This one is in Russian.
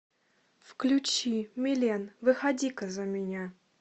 включи милен выходи ка за меня